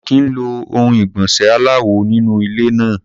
A ò kì í lo ohun ìgbọ̀nsẹ̀ aláwò nínú ilé náà.